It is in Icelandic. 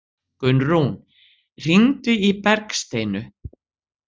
Gunnrún, hringdu í Bergsteinu.